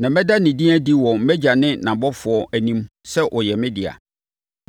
Na mɛda ne din adi wɔ mʼAgya no ne nʼabɔfoɔ anim sɛ ɔyɛ me dea.